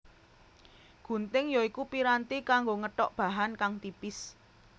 Gunting ya iku piranti kanggo ngethok bahan kang tipis